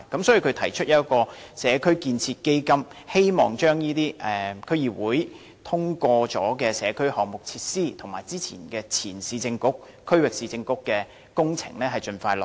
所以，他提出設立"社區建設基金"，希望把這些已獲區議會通過的社區項目設施，以及前市政局和區域市政局的工程盡快落實。